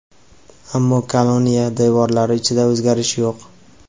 ammo koloniya devorlari ichida o‘zgarish yo‘q.